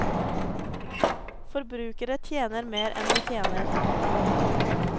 Forbruker ikke mer enn vi tjener.